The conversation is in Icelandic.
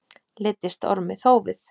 Leiddist Ormi þófið.